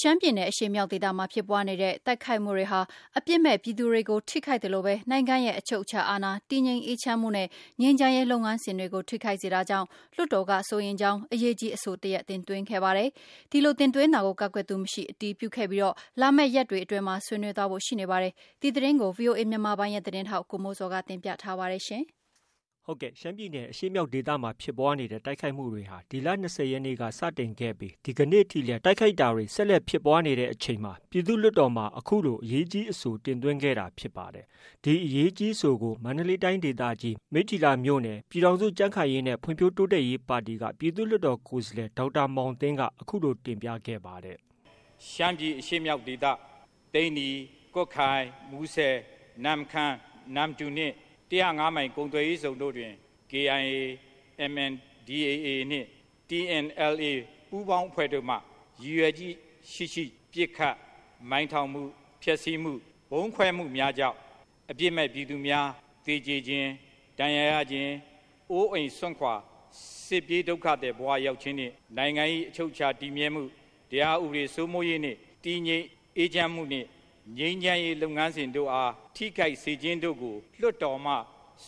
ရှမ်းပြည်နယ်အရှေ့မြောက်ဒေသမှာ ဖြစ်ပွားနေတဲ့ တိုက်ခိုက်တာတွေဟာ အပြစ်မဲ့ပြည်သူတွေကို ထိခိုက်သလို နိုင်ငံအချုပ်အခြာအာဏာ၊ တည်ငြိမ်အေးချမ်းမှုနဲ့ ငြိမ်းချမ်းရေါ်လုပ်ငန်းစဉ်တွေကို ထိခိုက်စေတာကြောင့် လွှတ်တော်က စိုးရိမ်ကြောင်း အရေးကြီးအဆိုတရပ်တင်သွင်းခဲ့ပါတယ်။ ဒီတင်သွင်းတာကို ကန့်ကွက်သူမရှိ အတည်ပြုခဲ့ပြီး လာမယ့်ရက်တွေအတွင်းမှာ ဆွေးနွေးသွားဖို့ ရှိနေပါတယ်။ ဒီသတင်းကို ဗွီအိုအေမြန်မာပိုင်းရဲ့သတင်းထောက် ကိုမိုးဇော်က တင်ပြထားပါတယ်။ ရှမ်းပြည်နယ်အရှေ့မြောက်ဒေသမှာဖြစ်ပွားနေတဲ့ တိုက်ခိုက်မှုတွေဟာ ဒီလ ၂၀ရက်နေ့ အစောပိုင်းက စတင်ခဲ့တာဖြစ်ပြီး ဒီကနေ့ထိလည်း တိုက်ခိုက်တာတွေက ဆက်လက်ဖြစ်ပွားနေတဲ့ အချိန်မှာ ပြည်သူ့လွှတ်တေ်ာမှာ အရေးကြီးအဆိုတရပ်တင်သွင်းခဲ့တာဖြစ်ပါတယ်။ ဒီအရေးကြီးအဆိုကို မန္တလေးတိုင်းဒေသကြီး မိတ္ထီလာမြို့နယ်က ပြည်ထောင်စုကြံ့ခိုင်ရေးနဲ့ ဖွံ့ဖြိုးတိုးတက်ရေးပါတီ ပြည်သူ့လွှတ်တော်ကိုယ်စားလှယ် ဒေါက်တာမောင်သင်းက အခုလိုတင်ပြခဲ့ပါတယ်။ “ရှမ်းပြည်အရှေ့မြောက်ဒေသ သိန္နီ ၊ ကွတ်ခိုင်၊ မူဆယ်၊ နမ့်ခမ်း၊ နမ္မတူနှင့် ၁၀၅ မိုင် ကုန်သွယ်ရေးဇုံတို့တွင် KIA ၊ MNDAA နှင့် TNLA ပူးပေါင်းအဖွဲ့တို့မှ ရည်ရွယ်ချက်ရှိရှိ ပစ်ခတ်၊ မိုင်းထောင်မှု၊ ပျက်ဆီးမှု ဗုံးခွဲမှုများကြောင့် အပြစ်မဲ့ ပြည်သူများ သေခြင်း၊ ဒဏ်ရာရခြင်း ၊ အိုးအိမ်စွန့်ခွာ စစ်ပြေးဒုက္ခသည်ဘ၀ ရောက်ခြင်းနှင့် နိုင်ငံ၏ အချုပ်အခြာတည်မြဲမှု ၊ တရားဥပဒေစိုးမိုးရေးနှင့် တည်ငြိမ်အေးချမ်းမှု နှင့် ငြိမ်းချမ်းရေး လုပ်ငန်းစဉ်တို့အား ထိခိုက်စေခြင်းတို့ကို လွှတ်တော်မှ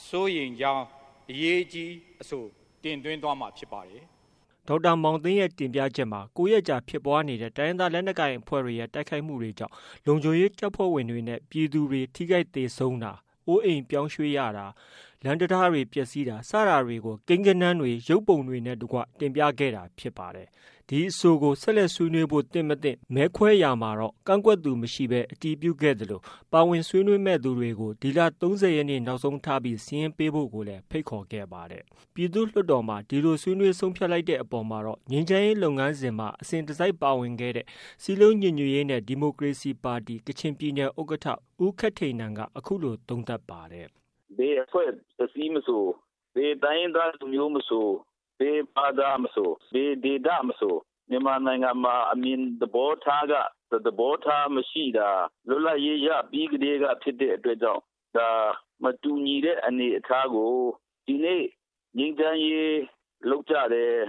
စိုးရိမ်ကြောင်း အရေးကြီးအဆိုတင်သွင်းသွားမှာ ဖြစ်ပါတယ်။” ဒေါက်တာမောင်သင်းရဲတင်ပြချက်မှာ ၉ရက်ကြာဖြစ်ပွားတဲ့ တိုင်းရင်းသားလက်နက်ကိုင်အဖွဲ့တွေရဲ့ တိုက်ခိုက်မှုတွေကြောင့် လုံခြုံရေးတပ်ဖွဲ့ဝင်တွေနဲ့ပြည်သူတွေ ထိခိုက်သေဆုံးတာ၊ အိုးအိမ်ပြောင်းရွှေ့ရတာ၊ လမ်းတံတားတွေပျက်ဆီးမှု စတာတွေကို ကိန်းဂဏန်းတွေ၊ ရုပ်ပုံတွေနဲ့ တကွ တင်ပြခဲ့တာဖြစ်ပါတယ်။ ဒီအဆိုကို ဆက်လက်ဆွေးနွေးဖို့ သင့်၊ မသင့် မဲခွဲရာမှာတော့ ကန့်ကွက်သူမရှိဘဲ အတည်ပြုခဲ့သလို ပါဝင် ဆွေးနွေးမယ့်သူတွေဒီလ ၃၀ ရက်နေ့ နောက်ဆုံးထား စာရင်းပေးဖို့ကိုလည်း ဖိတ်ခေါ်ခဲ့ပါတယ်။ ပြည်သူ့လွှတ်တော်မှာ ဒီလို ဆွေးနွေးဆုံးဖြတ်လိုက်တဲ့အပေါ်မှာတော့ ငြိမ်းချမ်းရေးလုပ်ငန်းစဉ်မှာ အစဉ်တစိုက်ပါဝင်ခဲ့တဲ့ စည်းလုံးညီညွတ်ရေးနဲ့ ဒီမိုကရေစီပါတီ ဥက္ကဌ ဦးခက်ထိန်နန်က အခုလို သုံးသပ်ပါတယ်။ “ဘယ်အဖွဲ့အစည်းမဆို၊ ဘယ်တိုင်းရင်းသားလူမျိုးမဆို ၊ ဘယ်ဘာသာမဆို၊ ဘယ် ဒေသမဆို မြန်မာနိုင်ငံမှာ အမြင်သဘောထားက တစ် သဘောထားခြင်းမရှိတာ လွတ်လပ်ရေးရပြီးကတည်းက ဖြစ်တဲ့အတွက်ကြောင့် ဒါမတူညီတဲ့ အနေအထားကို ဒီနေ့ ငြိမ်းချမ်းရေးလုပ်ကြတယ်၊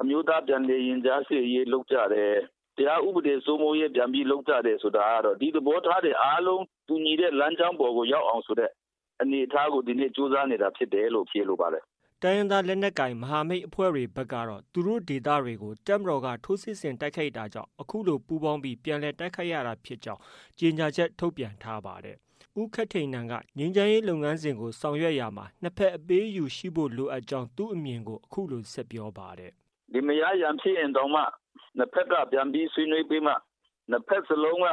အမျိုးသားပြန်လည် ရင်ကြားစေ့ရေးလုပ်ကြတယ်၊ တရားဥပဒေစိုးမိုးရေး ပြန်ပြီးလုပ်ကြတယ်ဆိုတာကတော့ ဒီသဘောထားတွေအားလုံး တူညီတဲ့လမ်းကြောင်းပေါ်ကိုရောက်အောင်ဆိုတဲ့ အနေအထားကို ကြိုးစားနေတာဖြစ်တယ်လို့ ဖြေလိုပါတယ်။” တိုင်းရင်းသားမဟာမိတ်အဖွဲ့တွေကတော့ သူတို့ဒေသတွေကို တပ်မတော်က ထိုးစစ်ဆင်တိုက်ခိုက်တာကြောင့် ပူးပေါင်းပြီး ပြန်လည်တိုက်ခိုက်ကြောင်း ကြေညာချက် ထုတ်ပြန်ထားပါတယ်။ ဦးခက်ထိန်နန်ကတော့ ငြိမ်းချမ်းရေးလုပ်ငန်းစဉ်ကို ဆောင်ရွက်ရာမှာ နှစ်ဖက် အပေးအယူရှိဖို့လိုအပ်ကြောင်းသူ့အမြင်ကို အခုလို ဆက်ပြောပါတယ်။ “လင်မယား ရန်ဖြစ်ရင်တောင်မှ ၂ ဘက်က ပြန်ပြီးဆွေးနွေးပြီးမှ ၂ ဘက်စလုံးက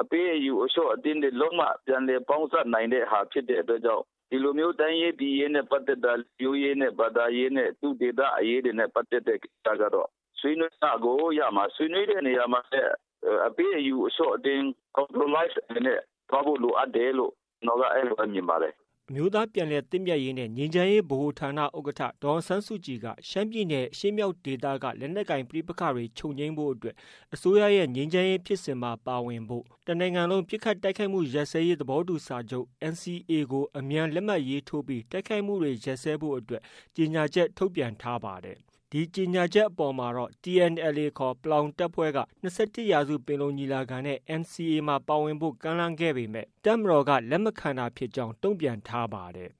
အပေးအယူအလျှော့အတင်းတွေလုပ်မှ ပြန်လည်ပေါင်းစပ်နိုင်တဲ့ဟာ ဖြစ်တဲ့အတွက်ကြောင့် ဒီလိုမျိုးတိုင်းရေးပြည်ရေးနဲ့ ပတ်သက်တာ လူမျိုးရေးနဲ့ ဘာသာရေးနဲ့ သူ့ဒေသအရေးနဲ့ ပတ်သက်တဲ့ ကိစ္စတွေကတော့ ဆွေးနွေးမှကို ရမှာ။ ဆွေးနွေးတဲ့နေရာမှာလည်း အပေးအယူအလျှော့အတင်း compromise အနေနဲ့ သွားဖို့ လိုအပ်တယ်လို့ ကျနော်က အဲဒီလို မြင်ပါတယ်။” အမျိုးသားပြန်လည်သင့်မြတ်ရေးနဲ့ ငြိမ်းချမ်းရေးဗဟိုဌာန ဥက္ကဌ ဒေါ်အောင်ဆန်းစုကြည်ကတော့ ရှမ်းပြည်နယ်အရှေ့မြောက်ဒေသက လက်နက်ကိုင်ပဋိပက္ခတွေ ချုပ်ငြိမ်းရေးအတွက် အစိုးရရဲ့ ငြိမ်းချမ်းရေးဖြစ်စဉ်မှာ ပါဝင်ဖို့၊ တနိုင်ငံလုံး ပစ်ခတ်တိုက်ခိုက်မှုရပ်စဲရေးသဘောတူစာချုပ် NCA ကို အမြန်လက်မှတ်ရေးထိုးပြီး တိုက်ခိုက်မှုတွေရပ်စဲရေးအတွက် ကြေညာချက် ထုတ်ပြန်ထားပါတယ်။ ဒီကြေညာချက်အပေါ်မှာတော့ TNLA ခေါ် ပလောင်တပ်ဖွဲ့က ၂၁ရာစုပင်လုံညီလာခံနဲ့ NCA ကိုပါဝင်ဖို့ ကမ်းလှမ်းပေမဲ့ တပ်မတော်က လက်မခံတာကြောင်း တုံပြန်ထားပါတယ်